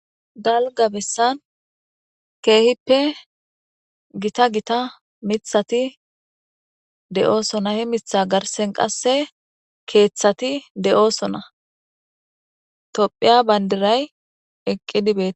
Dalga bessan keehippe gita gita mithati de'oosona he mitha garsen qasse keeththati de'oosona tophiya bayndiray eqqi dibeet.